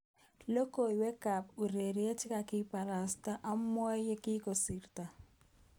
Logoiwek ab ureriet chekakibitishan amwoywek yekisirto.